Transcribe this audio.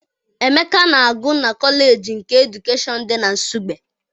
Emeka na-agụ na kọleji nke edukeshọn dị na Nsugbe.